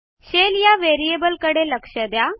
Shellया variableकडे लक्ष द्या